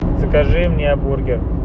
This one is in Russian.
закажи мне бургер